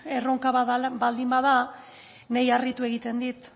erronka bat bada niri harritu nau